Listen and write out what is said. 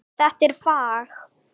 Þetta er fag.